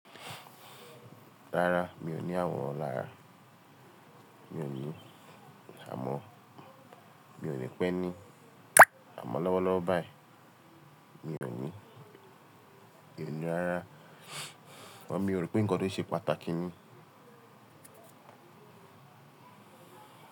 Rárá mi ò ní àwòrán lára, mi ò ní, àmọ́ mi ò ní pẹ́ ní àmọ̀ lọ́wọ́lọ́wọ́ báyìí, mi ò ní, mi ò ní rárá, àmọ́ mi o rò pé nǹkan tó ṣe pàtàkì ni.